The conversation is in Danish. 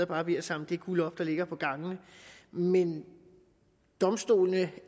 bare ved at samle det guld op der ligger på gangene men domstolene